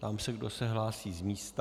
Ptám se, kdo se hlásí z místa.